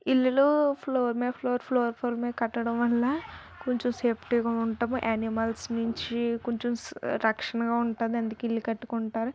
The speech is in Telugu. ఇల్లులు ఫ్లోర్ ఫ్లోర్ ఫ్లోర్ అనిమల్స్ నుంచి కొంచెం రక్షణగా ఉంటుందని ఇల్లు కట్టుకుంటారు.